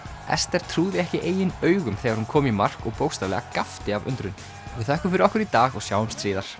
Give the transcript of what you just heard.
Ester trúði ekki eigin augum þegar hún kom í mark og bókstaflega gapti af undrun við þökkum fyrir okkur í dag og sjáumst síðar